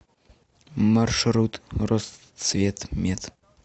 маршрут росцветмет